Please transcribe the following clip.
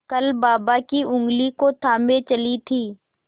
कल बाबा की ऊँगली को थामे चली थी